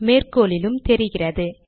மேற்கோளிலும் தெரிகிறது